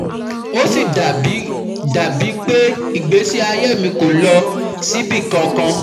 Ó sì dà bíi dà bíi pé ìgbésí ayé mi kò lọ síbì kankan